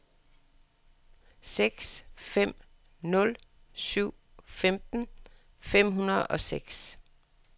seks fem nul syv femten fem hundrede og seks